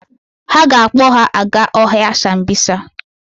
Ha ga-akpọ ha aga ọhịa Sambisa.